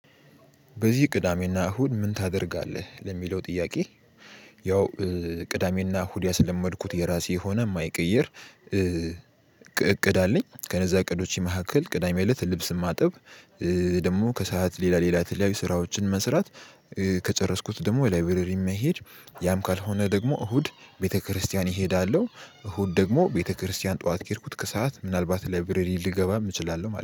በዚህ ቅዳሜና እሁድ ምን ታደርጋለህ ለሚለው ጥያቄ? ያው ቅዳሜና እሁድ ያስለመድኩት የራሴ የሆነ የማይቀይር እቅድ አለኝ። ከነዛ እቅዶቼ መካከል ቅዳሜ እለት ልብስ ማጥብ ደግሞ ከሰአት ሌላ ሌላ የተለያዩ ስራዎችን መስራት። ከጨረስኩት ደግሞ ላይብረሪ መሄድ ያም ካልሆነ ደግሞ እሁድ ቤተክርስቲያን እሄዳለሁ። እሁድ ደግሞ ቤተክርስቲያን ጠዋት ከሄድኩት ከሰአት ምናልባት ላይብረሪ ልገባ እችላለሁ ማለት ነው